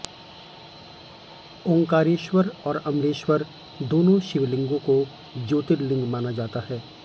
ओंकारेश्वर और अमलेश्वर दोनों शिवलिंगों को ज्योतिर्लिंग माना जाता है